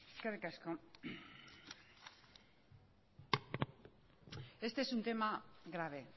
eskerrik asko este es un tema grave